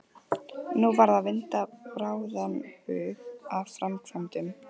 Nú varð að vinda bráðan bug að framkvæmdum.